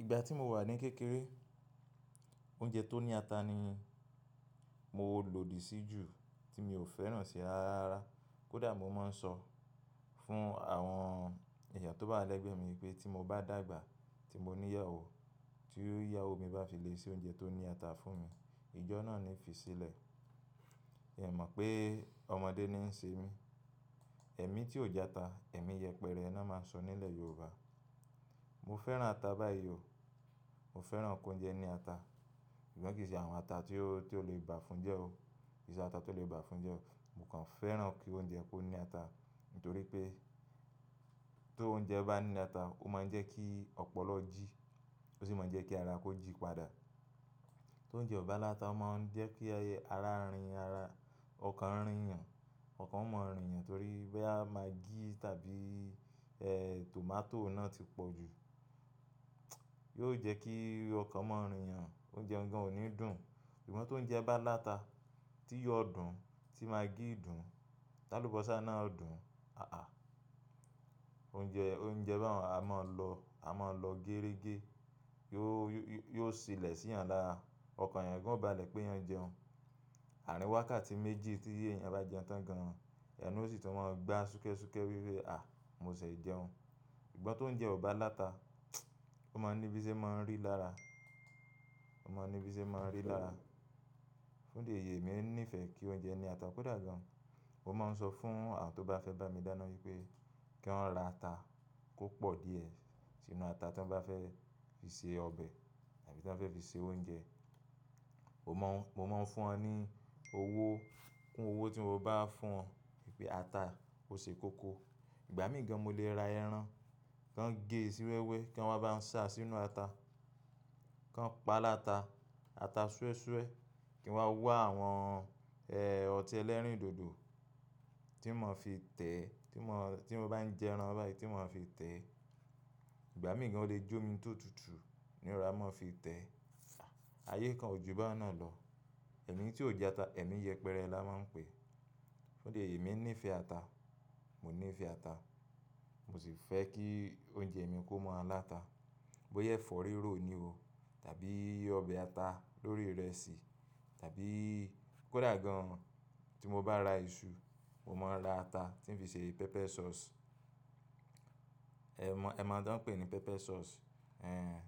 Ìgbà tí mo wà ní kékeré, oúnjẹ tó ní ata ni mo lòdì sí jù tí mi ò fẹ́ràn ṣe ara ara. Kódà mo máa ń sọ fún àwọn èèyàn tó bá wà lẹ́gbẹẹ́ mi pé tí mo bá dàgbà tí mo ní ìyàwó, tí ìyàwó mi bá fi lè ṣe oúnjẹ tó ní ata fún mi, ìjọ náà ni fi sílẹ̀. Miì mọ̀ pé ọmọdé ni í ṣe mí. Ẹ̀mí tí ò jẹ ata, ẹ̀mí yẹpẹrẹ ná máa ń sọ nílẹ̀ Yorùbá. Mo fẹ́ràn ata báyìí o, mo fẹ́ràn kóúnjẹ ní ata. Ṣùgbọ́n kì í ṣe àwọn ata tí ó, tí ó lè bà fun jẹ́ o. Kì í ṣe ata tó lè bà fun jẹ́ o. Mo kàn fẹ́ràn kí oúnjẹ kó ní ata. Nítorí pé tóúnjẹ bá ní ata, ó máa ń jẹ́ kí ọpọlọ jí. Ó sì máa ń jẹ́ kí ara kó jí padà. Tó oúnjẹ ò bá láta, ó máa ń jẹ́ pé ẹyẹ ara rìn ara, ọkàn ń rìn yàn. Ọkàn ó mọ́ ń rìn yàn torí bóyá magí tàbí, ẹ́, tomato náà ti pọ̀ jù. Yóò jẹ́ kí ọkàn mọ́ ń rin ẹlẹ́ẹ̀kẹta. Oúnjẹ ọ̀hún ò ní dùn. Ṣùgbọ́n tóúnjẹ bá láta, tíyọ dùn-ún, tí magí fùn, tálúbọ̀sà náà dùn-ún. Oúnjẹ, oúnjẹ bá hàn á máa lọ, a máa lọ géérégé. Yóó, yóó silẹ̀ síyàn lára. Ọkàn èèyàn ìyẹn kò bá le péyàn jẹun. Àárín wákàtí méjì tí èèyàn bá jẹun tán gan an, ẹ̀nu sì tó máa gbá súnkẹ́súnkẹ́ wíwé. Mo ṣẹ̀ jẹun. Ṣùgbọ́n tóúnjẹ ò bá láta, ó máa ń ní bíṣé máa ń rì lára. Ó máa ń ní bíṣé máa ń rì lára. Fún di èyí, èmi nífẹ̀ẹ́ kí oúnjẹ ní ata kódà gan-an. Mo máa ń sọ fún àwọn tó bá fẹ́ bá mi dáná wípé kí wọ́n ra ata kò pọ̀ díẹ̀ sínú ata tí wọ́n bá fẹ́ fi se ọbẹ̀ tàbí tí wọ́n fẹ́ fi se oúnjẹ. Mo máa, mo máa ń fún wọn ní owó. Kún owó tí mo bá fún wọn wípé ata ó ṣe koko. Ìgbà míì gan-an mo lè ra ẹran, kí wọ́n gée sì wẹ́wẹ́ kí wọn bá ń ṣáa sínú ata. Kí wọ́n paá láta, ata súẹ́súẹ́ kí n wá wá àwọn, ọtí ẹlẹ́rìndòdò tí mo máa fi tẹ́, tí mo, tí mo bá ń jẹ ẹran báyìí tí mo máa fi tẹ́. Ìgbà míì gan-an ó le jómi tó tutù ń rọra máa fi tẹ̀ ẹ́. Ayé kan ò jù báun náà lọ. Ẹ̀mí tí ò jata, ẹ̀mí yẹpẹrẹ la máa ń pèé. Fúndìí èyí, èmi nífẹ̀ẹ́ ata. Mo nífẹ̀ẹ́ ata. Mo sì fẹ́ kí oúnjẹ mi kó máa láta. Bóyá ẹ̀fọ́ rírò ní o tàbí ọbẹ̀ ata lórí ìrẹsì tàbí kó dà gan tí mo bá ra iṣu, mo máa ń ra ata tí ń fi ṣe pepper sauce. Ẹ mọ̀, ẹ máa ń tán ń pè ní pepper sauce. Ẹ̀n,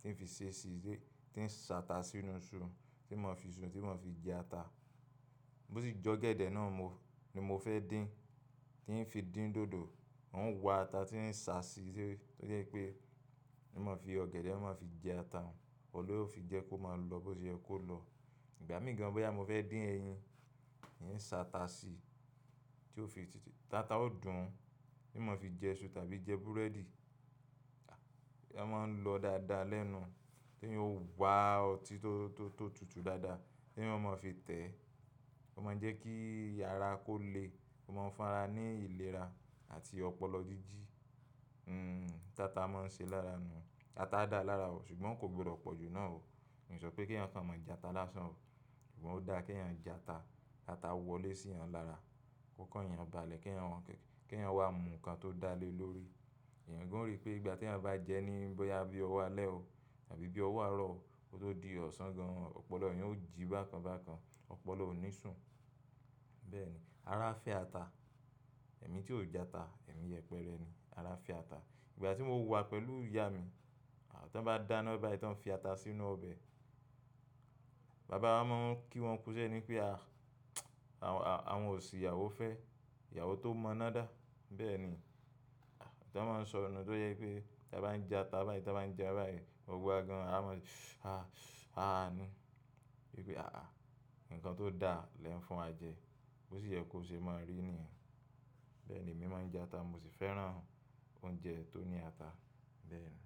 tí ń fi ṣe ṣíṣe, tí ń ṣàtà sínú iṣu tí ń máa fi iṣu tí ń máa fi jẹ ata. Bó sì jọ́gẹ̀dẹ̀ náà mo, ni mo fẹ́ dín, tí ń fi dín dòdò, ń wa ata tí ń ṣà sí i. Ó jẹ́ wípé ní mo fi ọ̀gẹ̀dẹ̀, mo máa fi jẹ ata. Òun ni yóò fi jẹ́ kó máa lọ bó ṣe yẹ kó lọ. Ìgbà míì gan-an bóyá mo fẹ́ dín ẹyin, ń ṣàtà sí i tí ó fi tìtì. Táta ó dùn-ún tí ń máa fi jẹ iṣu tàbí jẹ búrẹ́dì. Wọ́n máa ń lọ dáadáa lẹ́nu. Tí ó ń wa ọtí tó, tó, tó tutù dáadáa téèyàn ó máa fi tẹ̀ẹ́. Ó máa ń jẹ́ kí ara kó le. Ó máa ń fún ara ní ìlera àti ọpọlọ jíjí. N tata máa ń ṣe lára nu. Ata dáa lára o, ṣùgbọ́n kò gbọdọ̀ pọ̀ jù náà o. Mi ò sọ pé kéèyàn kàn máa jata lásán o. Ṣùgbọ́n ó dáa kéèyàn jẹ ata. Káta wọlé síyàn lára. Ó kán ẹ yan bá a lẹ kí ẹ san, kí ẹ san wá mu nǹkan tó dà le lórí. Èèyàn gan-an ó rì pé ìgbà tí ẹ bá jẹ ní bóyá bí ọwọ́ alẹ́ o tàbí bí ọwọ́ àárọ̀ o, kó tó di ọ̀sán gan-an. Ọpọlọ yẹn ó jí bákan bákan. Ọpọlọ ò ní sùn. Bẹ́ẹ̀ni. Ara ń fẹ́ ata. Ẹ̀mí tí ò jẹ ata, ẹ̀mí yẹpẹrẹ ni. Ara fẹ́ ata. Ìgbà tí mo wà pẹ̀lú ìyá mi, àwọn tó bá dáná bá ẹ tí wọ́n fi ata sínú ọbẹ̀, bàbá wa máa ń kí wọn kú iṣẹ́ ni wípé a, àwọn ò sì ìyàwó fẹ́. Ìyàwó tó mọ'ná dá. Bẹ́ẹ̀ ni. Tí wọ́n máa ń sọ nù tó jẹ́ wípé tí a bá ń jẹ ata báyìí, tí a bá ń jẹ báyìí, mo gbọ́ gan an a mọ̀, ni wípé nǹkan tó dáa lẹ̀ ń fún wa jẹ. Bó sì yẹ kó ṣe máa rì nìyẹn. Bẹ́ẹ̀ ni, èmi máa ń jẹ ata, mo sì fẹ́ràn oúnjẹ tó ní ata. Bẹ́ẹ̀ ni.